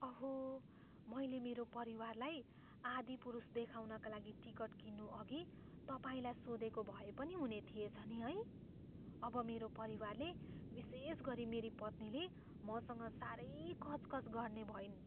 अहो! मैले मेरो परिवारलाई "आदिपुरुष" देखाउनका लागि टिकट किन्नुअघि तपाईँलाई सोधेको भए पनि हुने थिएछ नि है? अब मेरो परिवारले, विशेषगरी मेरी पत्नीले, मसँग साह्रै कचकच गर्ने भइन्।